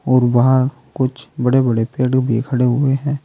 और वहां कुछ बड़े बड़े पेड़ भी खड़े हुए हैं।